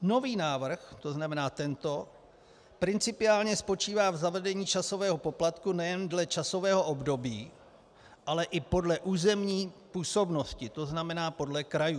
Nový návrh, to znamená tento, principiálně spočívá v zavedení časového poplatku nejen dle časového období, ale i podle územní působnosti, to znamená podle krajů.